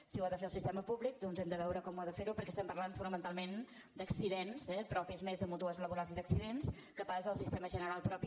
si ho ha de fer el sistema públic doncs hem de veure com ha de fer ho perquè estem parlant fonamentalment d’accidents eh propis més de mútues laborals i d’accidents que no pas el sistema general propi